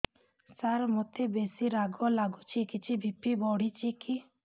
ସାର ମୋତେ ବେସି ରାଗ ଲାଗୁଚି କିଛି ବି.ପି ବଢ଼ିଚି କି